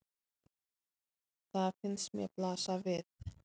Það finnst mér blasa við.